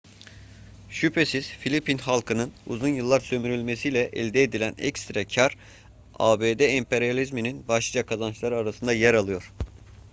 şüphesiz filipin halkının uzun yıllar sömürülmesiyle elde edilen ekstra kâr abd emperyalizminin başlıca kazançları arasında yer alıyor